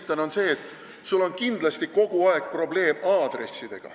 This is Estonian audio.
Põhjus on see, et sul on kindlasti kogu aeg probleem aadressidega.